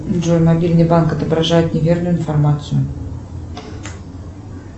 джой мобильный банк отображает неверную информацию